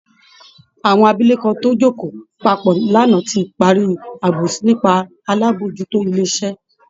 Àwọn abilékọ tó jókòó papọ̀ lánàá ti parí àbòsí nípa alábòójútó ilé iṣẹ́